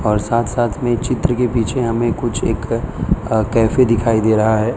और साथ साथ में चित्र के पीछे हमें कुछ एक अ कैफे दिखाई दे रहा है।